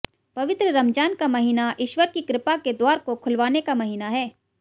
पवित्र रमज़ान का महीना ईश्वर की कृपा के द्वार को खुलवाने का महीना है